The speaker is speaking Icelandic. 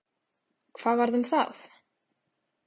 Hvað varð um það?